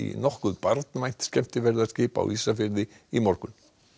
nokkuð barnvænt skemmtiferðaskip á Ísafirði í morgun